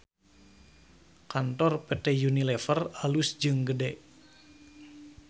Kantor PT UNILEVER alus jeung gede